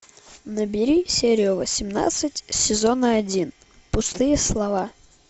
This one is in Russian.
набери серию восемнадцать сезона один пустые слова